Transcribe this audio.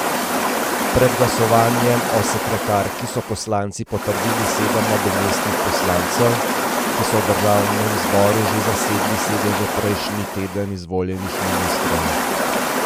Pred glasovanjem o sekretarki so poslanci potrdili sedem nadomestnih poslancev, ki so v državnem zboru že zasedli sedeže prejšnji teden izvoljenih ministrov.